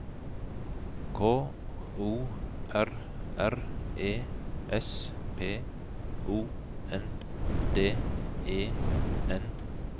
K O R R E S P O N D E N T